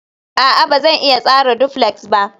a'a, Ba zan iya tsara duflex ba